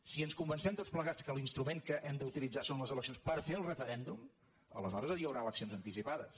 si ens con·vencem tots plegats que l’instrument que hem d’utilit·zar són les eleccions per fer el referèndum aleshores hi haurà eleccions anticipades